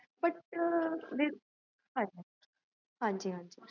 ਸ੍ਦ੍ਫ਼